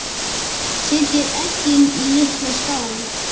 Setjið eggin í litla skál.